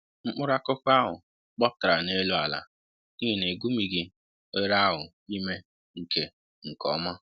mkpụrụ akụkụ ahụ gbapụtara n'elu àlà n'ihi na-egumighị oghere ahụ ime nke nke ọma